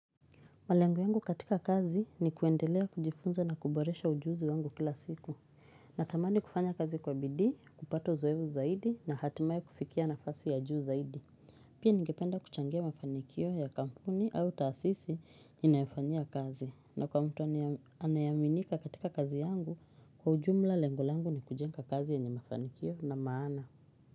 Malengo yangu katika kazi ni kuendelea kujifunza na kuboresha ujuzi wangu kila siku. Natamani kufanya kazi kwa bidii, kupata uzoevu zaidi na hatimai kufikia nafasi ya juu zaidi. Pia ningependa kuchangia mafanikio ya kampuni au taasisi ni nayofanyia kazi. Na kwa mtu anayeaminika katika kazi yangu kwa ujumla lengo langu ni kujenga kazi yenye mafanikio na maana.